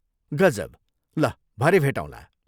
गजब। ल भरे भेटौँला।